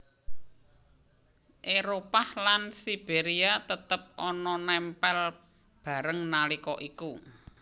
Éropah lan Siberia tetep ana nempel bareng nalika iku